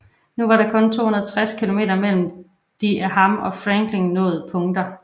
Nu var der kun 260 km mellem de af ham og Franklin nåede punkter